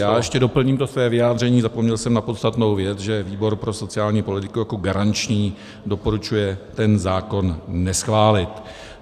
Já ještě doplním to své vyjádření, zapomněl jsem na podstatnou věc, že výbor pro sociální politiku jako garanční doporučuje ten zákon neschválit.